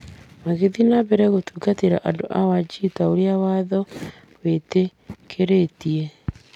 Magĩthiĩ na mbere gũtungatĩra andũ a Wajir ta ũrĩa watho wĩtĩkĩrĩtie.